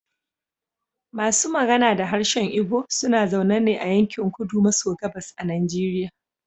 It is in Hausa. Masu magana da harshen Igbo suna zaune ne a yankin kudu maso gabas a Nigeria.